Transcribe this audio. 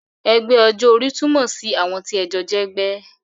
Ẹgbẹ́ ọjọ́ orí túmọ̀ sí àwọn tí ẹ jọ jẹ́ ẹgbẹ́